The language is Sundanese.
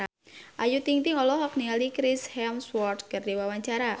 Ayu Ting-ting olohok ningali Chris Hemsworth keur diwawancara